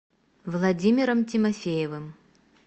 владимиром тимофеевым